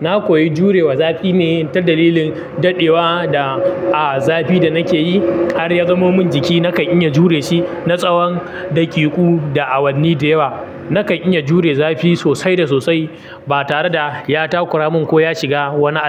Na koyi jurewa zafi ne ta dalilin daɗewa da, a zafi da nake yi. Har ya zamo min jiki, nakan iya jure shi na tsawan daƙiƙu da awanni da yawa. Nakan iya jure zafi sosai da sosai ba tare da ya takura mun ko ya shiga wani al.